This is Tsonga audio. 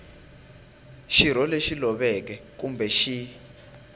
xirho lexi loveke kumbe xi